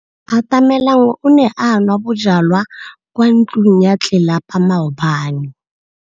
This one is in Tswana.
Atamelang o ne a nwa bojwala kwa ntlong ya tlelapa maobane.